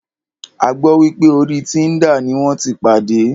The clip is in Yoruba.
A gbọ́ wípé orí Tinder ní wọ́n tí pàdé.